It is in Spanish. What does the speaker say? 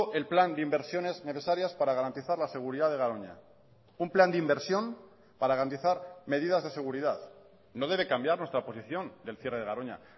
el plan de inversiones necesarias para garantizar la seguridad de garoña un plan de inversión para garantizar medidas de seguridad no debe cambiar nuestra posición del cierre de garoña